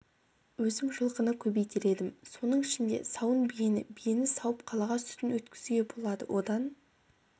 өзім жылқыны көбейтер едім соның ішінде сауын биені биені сауып қалаға сүтін өткізуге болады одан